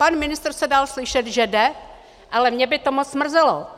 Pan ministr se dal slyšet, že jde, ale mě by to moc mrzelo.